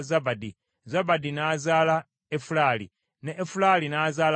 Zabadi n’azaala Efulali, ne Efulali n’azaala Obedi.